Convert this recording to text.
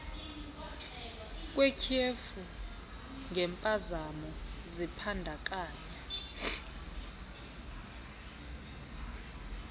kwetyhefu ngempazamo zibandakanya